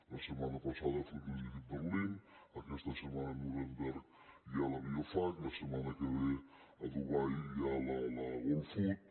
la setmana passada fruit logistica berlín aquesta setmana a nuremberg hi ha la biofach la setmana que ve a dubai hi ha la gulfood